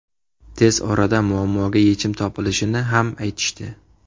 Tez orada muammoga yechim topilishini ham aytishdi.